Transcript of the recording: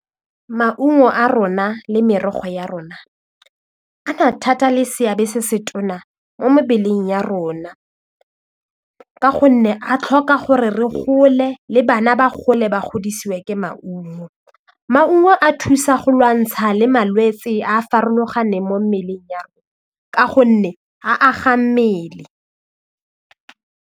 Maungo a rona le merogo ya rona a na thata le seabe se se tona mo mebeleng ya rona ka gonne a tlhoka gore re gole le bana ba gole ba godisiwe ke maungo, maungo a thusa go lwantsha le malwetse a a farologaneng mo mmeleng ya ka gonne a aga mmele.